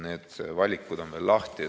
Need valikud on veel lahti.